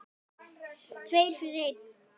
Tveir fyrir einn.